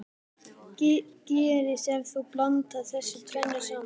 Hvað gerist ef þú blandar þessu tvennu saman?